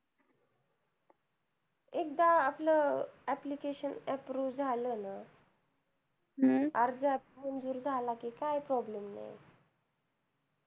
एकदा आपलं application approved झालं ना अर्ज मंजूर झाला कि काय problem नाही येत